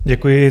Děkuji.